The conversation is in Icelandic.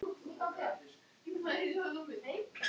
Kristín María Birgisdóttir: Og þú ætlar að nýta þér þetta?